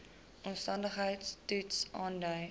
omstandigheids toets aandui